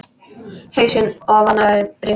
Hausinn ofan í bringu.